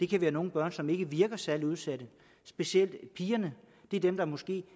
kan være nogle børn som ikke virker særlig udsatte specielt pigerne er dem der måske